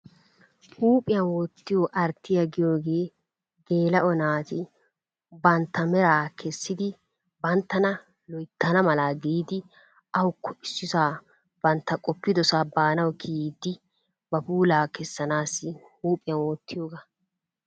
huuphphiyaan wottiyoo arttiyaa giyoogee geela'o naati bantta meraa keessidi banttana loyttana mala giidi awuko issisaa bantta qoppidosaa baanawu kiyiidi ba pulaa kessanaasi huuphphiyaan wottiyoogaa.